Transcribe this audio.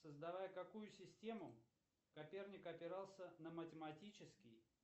создавая какую систему коперник опирался на математический